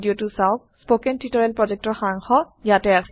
spoken tutorial প্ৰকল্পৰ সাৰাংশ ইয়াতে আছে